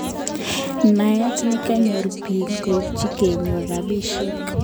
Naet nekonyor piik koipchin konyor ropisyek